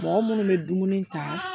Mɔgɔ minnu bɛ dumuni ta